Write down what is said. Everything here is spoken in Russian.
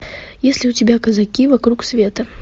есть ли у тебя казаки вокруг света